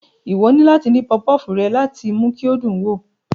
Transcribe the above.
Ìwọ ni láti dín pufupufu rẹ láti mú kí o dùn wo